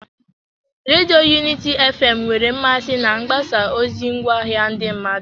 Redio Unity fm nwere mmasị na mgbasa ozi ngwaahịa ndị mmadụ.